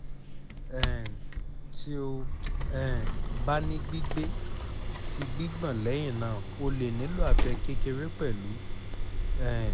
um ti o um ba ni gbigbe ti gbigbọn lẹhinna o le nilo abẹ kekere pẹlu um